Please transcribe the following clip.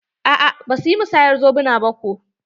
A'a basu yi musayar zobuna ba ko.